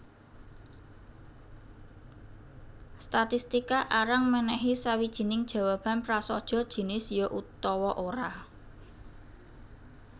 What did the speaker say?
Statistika arang mènèhi sawijining jawaban prasaja jinis ya utawa ora